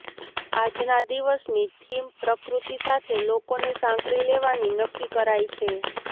આજના દિવસની થીમ પ્રકૃતિ સાથે લોકોને સાંકળી લેવાની નક્કી કરાઈ છે